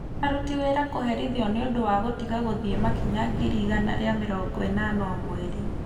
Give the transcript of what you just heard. Aruti Wĩra Kũherithio nĩ Ũndũ wa Gũtiga Gũthiĩ Makinya ngiri igana rĩa mĩrongo ĩnana o Mweri